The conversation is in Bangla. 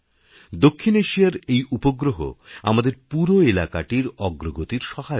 দক্ষিণ এশিয়ার এই উপগ্রহ আমাদের পুরোএলাকাটির অগ্রগতির সহায়ক হবে